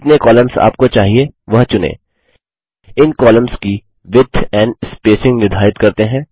जितने कॉलम्स आपको चाहिए वह चुनें इन कॉलम्स की विड्थ एंड स्पेसिंग निर्धारित करते हैं